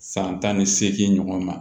San tan ni seegin ɲɔgɔn ma